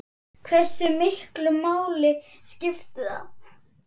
Hversu miklu máli skiptir það?